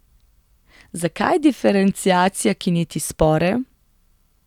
Zakaj diferenciacija, ki neti spore?